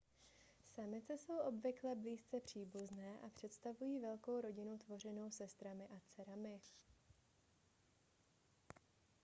samice jsou obvykle blízce příbuzné a představují velkou rodinu tvořenou sestrami a dcerami